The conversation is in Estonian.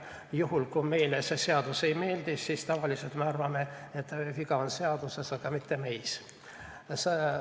Juhul kui meile seadus ei meeldi, siis tavaliselt me arvame, et viga on seaduses, aga mitte meis.